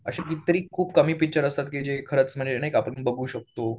अशी कितीतरी खूप कमी पिक्चर असतात की जी खरंच म्हणजे नाही का आपण बघू शकतो.